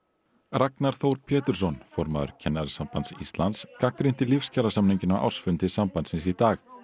Ragnar Þór Pétursson formaður Kennarasambands Íslands gagnrýndi á ársfundi sambandsins í dag